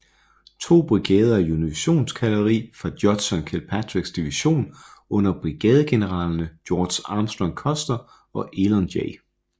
To brigader af unionskavaleri fra Judson Kilpatricks division under brigadegeneralerne George Armstrong Custer og Elon J